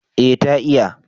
eh ta iya